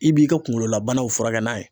I b'i ka kunkolo la banaw furakɛ n'a ye.